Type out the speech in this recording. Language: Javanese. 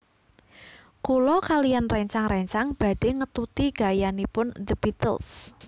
Kula kaliyan rencang rencang badhe ngetuti gayanipun The Beatles